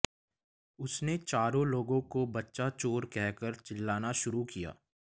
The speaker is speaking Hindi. उसने चारों लोगों को बच्चा चोर कहकर चिल्लाना शुरु किया